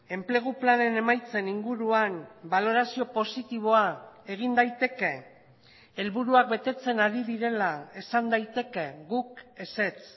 enplegu planen emaitzen inguruan balorazio positiboa egin daiteke helburuak betetzen ari direla esan daiteke guk ezetz